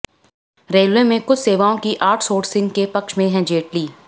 railway में कुछ सेवाओं की आउटसोर्सिंग के पक्ष में हैं जेटली